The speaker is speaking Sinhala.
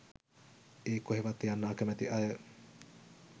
ඒ කොහෙවත් යන්න අකමැති අය